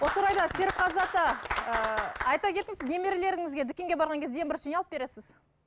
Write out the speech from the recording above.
осы орайда серікқазы ата ыыы айта кетіңізші немерелеріңізге дүкенге барған кезде ең бірінші не алып бересіз